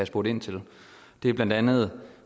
spurgt ind til det er blandt andet